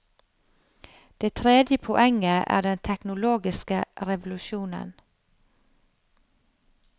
Det tredje poenget er den teknologiske revolusjonen.